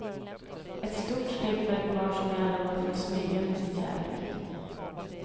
Ett stort steg för ett par som i alla år fått smyga med sin kärlek.